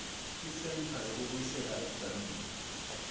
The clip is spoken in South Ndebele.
isentha yokubuyisela ebujameni